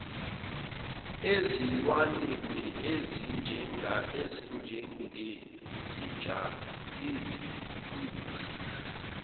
ezilwaneni ezinjengezinja izimpungushe